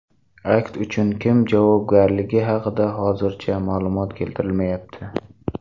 Akt uchun kim javobgarligi haqida hozircha ma’lumot keltirilmayapti.